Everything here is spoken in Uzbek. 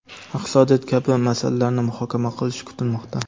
iqtisodiyot kabi masalalarni muhokama qilishi kutilmoqda.